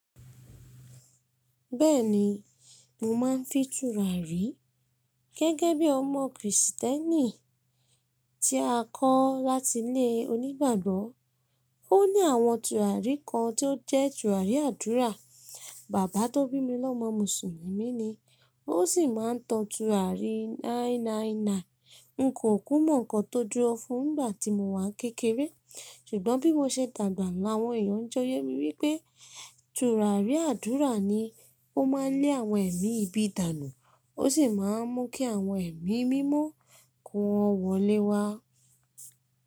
Bẹ́ẹ̀ni, mo máa ń fi tùràrí. Gẹ́gẹ́ bí ọmọ Krìsìtẹ́nì tí a kọ́ láti ilé onígbàgbọ́, ó ní àwọn tùràrí kan tí ó jẹ́ tùràrí àdúrà. Bàbá tó bími l'ọ́mọ Mùsùlùmí ni, ó sì máa ń tọ tùràrí 999. N kò kú mọ́ ǹkan tó dúró fun ngbà tí mo wà kékeré. Ṣùgbọ́n bí mo ṣe dàgbà làwọn èèyàn jọ yẹ́ mi wípé tùràrí àdúrà ni ó máa ń lé àwọn ẹ̀mí ibi dànù, ó sì máa ń mú kí àwọn ẹ̀mí mímọ́ kó wọn wọlé wá.